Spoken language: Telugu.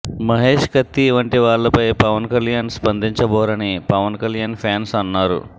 మహేష్ కత్తి వంటివాళ్లపై పవన్ కల్యాణ్ స్పందించబోరని పవన్ కల్యాణ్ ఫ్యాన్స్ అన్నారు